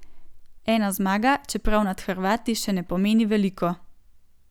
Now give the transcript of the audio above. Ena zmaga, čeprav nad Hrvati, še ne pomeni veliko.